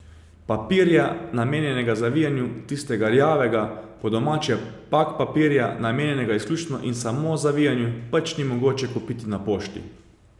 Papirja, namenjenega zavijanju, tistega rjavega, po domače pak papirja, namenjenega izključno in samo zavijanju, pač ni mogoče kupiti na pošti.